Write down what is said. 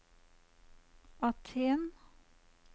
Aten